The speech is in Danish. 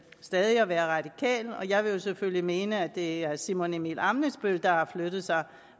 stadig at være radikal og jeg vil selvfølgelig mene at det er herre simon emil ammitzbøll der har flyttet sig